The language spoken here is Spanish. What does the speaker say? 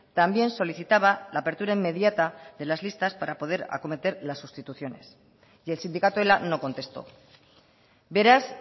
también solicitaba la apertura inmediata de las listas para poder acometer las sustituciones y el sindicato ela no contestó beraz